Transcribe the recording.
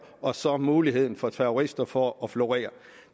og så muligheden for terrorister for at florere